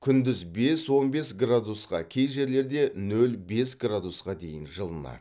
күндіз бес он бес градусқа кей жерлерде нөл бес градусқа дейін жылынады